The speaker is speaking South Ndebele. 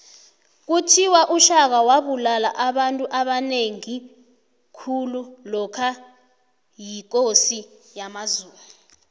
kuthiwa ushaka wabulala abantu abanengi khulu lokha yikosi yamazulu